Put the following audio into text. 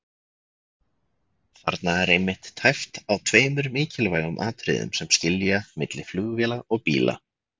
Þarna er einmitt tæpt á tveimur mikilvægum atriðum sem skilja milli flugvéla og bíla.